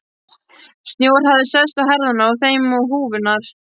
Snjór hafði sest á herðarnar á þeim og húfurnar.